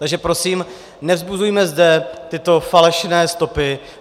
Takže prosím, nevzbuzujme zde tyto falešné stopy.